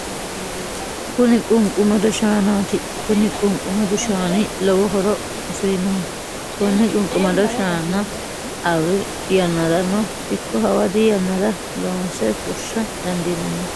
Kuni qunqumado shaanaati kuni qunqumadu shaani lowo horo afirinoho konne qunqumado shaana arri yannarano ikko hawadi yannara loonse fushsha dandiinanni